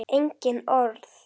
Engin orð.